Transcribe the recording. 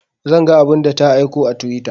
Zan ga abun da ta aiko a twitter